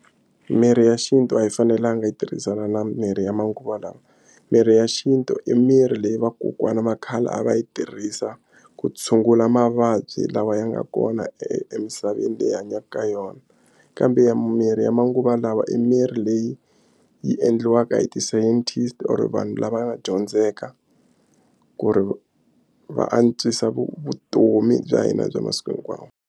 Mirhi ya xintu a yi fanelanga yi tirhisana na mirhi ya manguva lawa mirhi ya xintu i mirhi leyi vakokwana va khale a va yi tirhisa ku tshungula mavabyi lawa ya nga kona emisaveni leyi hi hanyaka ka yona kambe ya mimirhi ya manguva lawa e mirhi leyi yi endliwaka hi ti-scientist or vanhu lava nga dyondzeka ku ri va antswisa vutomi bya hina bya masiku hinkwawo.